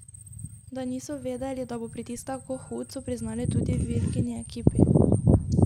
Da niso vedeli, da bo pritisk tako hud, so priznali tudi v Ilkini ekipi.